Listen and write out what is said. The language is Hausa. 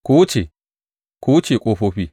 Ku wuce, ku wuce ƙofofi!